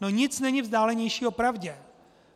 No, nic není vzdálenějšího pravdě.